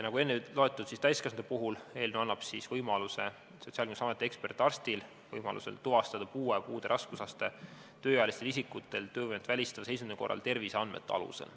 Nagu enne öeldud, täiskasvanute puhul annab eelnõu Sotsiaalkindlustusameti ekspertarstile võimaluse tuvastada puue ja puude raskusaste tööealise isiku töövõimet välistava seisundi korral terviseandmete alusel.